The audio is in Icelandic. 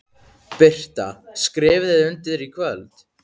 Birta: Skrifið þið undir í kvöld?